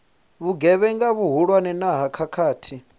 vhugevhenga vhuhulwane na ha khakhathi